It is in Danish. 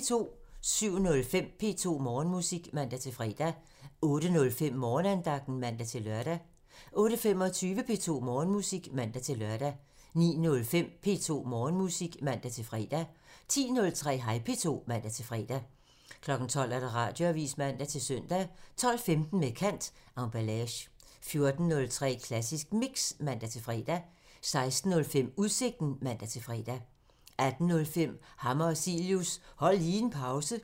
07:05: P2 Morgenmusik (man-fre) 08:05: Morgenandagten (man-lør) 08:25: P2 Morgenmusik (man-lør) 09:05: P2 Morgenmusik (man-fre) 10:03: Hej P2 (man-fre) 12:00: Radioavisen (man-søn) 12:15: Med kant – Emballage 14:03: Klassisk Mix (man-fre) 16:05: Udsigten (man-fre) 18:05: Hammer og Cilius – Hold lige en pause